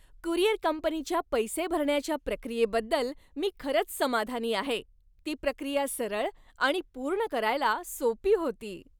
Courier कंपनीच्या पैसे भरण्याच्या प्रक्रियेबद्दल मी खरंच समाधानी आहे. ती प्रक्रिया सरळ आणि पूर्ण करायला सोपी होती.